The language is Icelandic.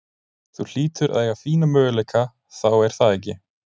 Þú hlýtur að eiga fína möguleika þá er það ekki?